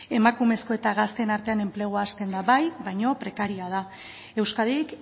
emakumezko eta gazteen artean enplegua hasten da bai baina prekarioa da euskadik